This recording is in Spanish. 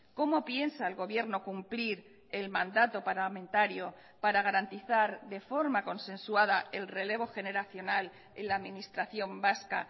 cómo piensa el gobierno cumplir el mandato parlamentario para garantizar de forma consensuada el relevo generacional en la administración vasca